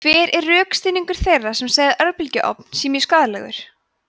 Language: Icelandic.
hver er rökstuðningur þeirra sem segja að örbylgjuofn sé mjög skaðlegur